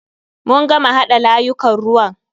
Mun gama haɗa layukan ruwan.